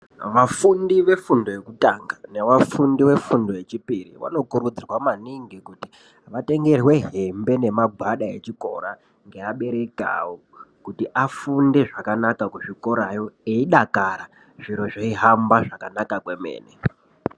Vafundi vefundo yekutanga nevafundi vefundo yechipiri. Vano kurudzirwa maningi kuti vatengerwe hembe nemagwada echikora ngeabereki avo. Kuti afunde zvakanaka kuzvikorayo eidakara zviro zveihamba zvakanaka kwemene.